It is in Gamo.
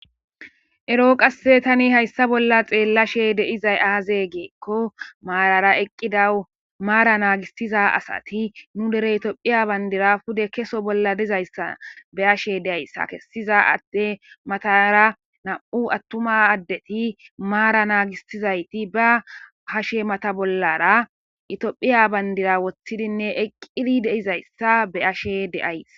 Error qase hayissa bolla xeelashshe dizayi azee gikko marara eqqida mara nagissiza asati nuu dere tophphiya banidira pude kesse bolla dizayissa be'ashshe dayis.ha kessiza ade matara nam''u atuma adeti mara nagisizayitt baa hashshe bollara Ethiopia banidira wothiddi eqqi dizayissa be'ashshe dayis.